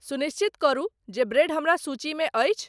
सुनिश्चित करू जे ब्रेड हमरा सूची मे अछि